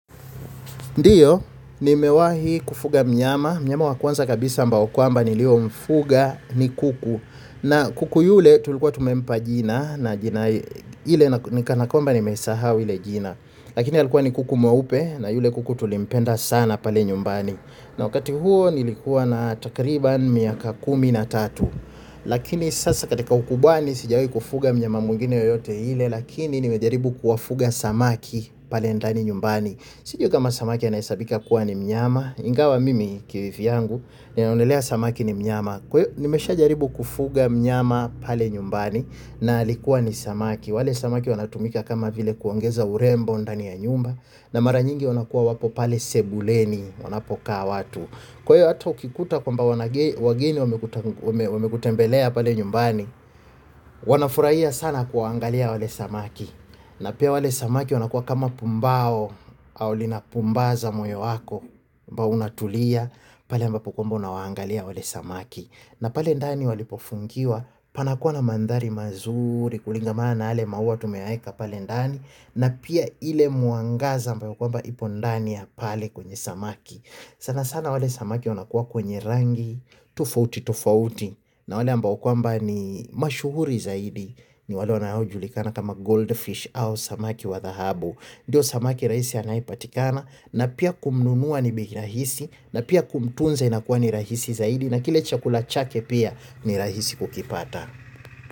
Ndiyo, nimewahi kufuga mnyama, mnyama wakwanza kabisa ambao kwamba niliomfuga ni kuku. Na kuku yule tulikuwa tumempa jina na jina ile nikanakwamba nimesahau ile jina lakini alikuwa ni kuku mwaupe na yule kuku tulimpenda sana pale nyumbani na wakati huo nilikuwa na takriban miaka kumi na tatu lakini sasa katika ukubwani sijawahi kufuga mnyama mwingine yeyote ile lakini nimejaribu kuwafuga samaki pale ndani nyumbani cjui kama samaki anahesabika kua ni mnyama ingawa mimi kivyangu ninaonelea samaki ni mnyama kwa hiyo nimeshawahi jaribu kufuga mnyama pale nyumbani na alikuwa ni samaki. Wale samaki wanatumika kama vile kuongeza urembo ndani ya nyumba na mara nyingi wanakuwa wapo pale sebuleni wanapokaa watu. Kwa hio hato ukikuta kwamba wageni wamekutembelea pale nyumbani, wanafurahia sana kuangalia wale samaki na pia wale samaki wanakua kama pumbao au lina pumbaza moyo wako. Mbao unatulia pale ambapo kwamba unawangalia wale samaki na pale ndani walipofungiwa panakua na mandhari mazuri kulingamaana yale maua tumeyaeka pale ndani na pia ile mwangaza ambayo kwamba ipo ndani ya pale kwenye samaki. Sana sana wale samaki wanakua kwenye rangi tofauti tofauti na wale ambao kwamba ni mashuhuri zaidi ni wale wanaojulikana kama goldfish au samaki wadhahabu. Ndiyo samaki rahisi anayepatikana na pia kumnunua ni bei rahisi na pia kumtunze inakuwa ni rahisi zaidi na kile chakula chake pia ni rahisi kukipata.